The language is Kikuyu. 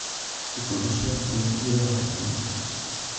Ikundi cia Ũtuĩria wa Digito